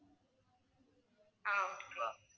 ஆஹ் okay